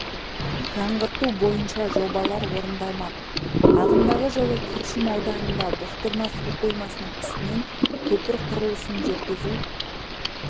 жаңғырту бойынша жобалар орындалмақ ағымдағы жылы күршім ауданында бұқтырма су қоймасының үстінен көпір құрылысын жүргізу